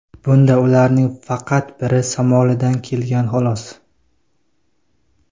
Bunda ularning faqat biri Somalidan kelgan, xolos.